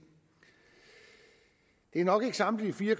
det er nok ikke samtlige fire